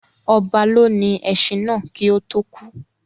Ọba lónìí ẹṣin náà kii ó tò kú